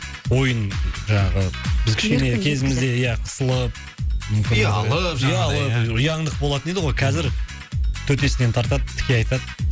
ойын жаңағы біз кішкене кезімізде ия қысылып ұялып жаңағыдай ұяңдық болатын еді ғой қазір төтесінен тартады тіке айтады